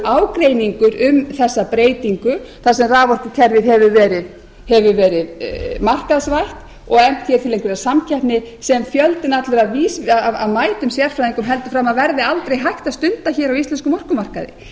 ágreiningur um þessa breytingu þar sem raforkukerfið hefur verið markaðsvæða og efnt til einhverrar samkeppni sem fjöldinn allur af mætum sérfræðingum heldur fram að verði aldrei hægt að stunda á íslenskum orkumarkaði